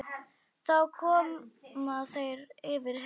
Þá koma þeir yfir Helju.